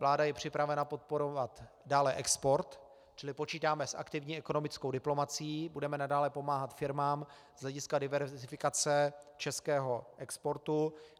Vláda je připravena podporovat dále export, čili počítáme s aktivní ekonomickou diplomacií, budeme nadále pomáhat firmám z hlediska diverzifikace českého exportu.